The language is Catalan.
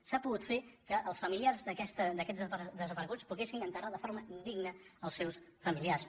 s’ha pogut fer que els familiars d’aquests desapareguts poguessin enterrar de forma digna els seus familiars